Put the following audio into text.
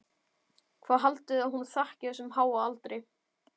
Hvað haldið þið að hún þakki þessum háa aldri?